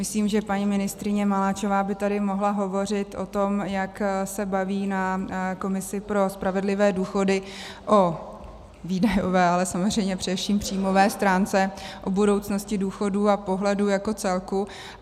Myslím, že paní ministryně Maláčová by tady mohla hovořit o tom, jak se baví na komisi pro spravedlivé důchody o výdajové, ale samozřejmě především příjmové stránce, o budoucnosti důchodů a pohledu jako celku.